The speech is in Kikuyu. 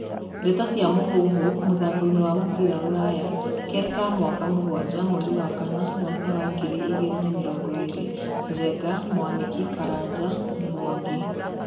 Ndeto cia Mũhuhu, mũthakoini wa mũbĩra rũraya, Kerĩ ka mweri mugwajs, mweri wa kana, mwaka wa ngiri na mĩrongo ĩrĩ:Njenga, Mwaniki, Karanja, Mwangi, Kamau.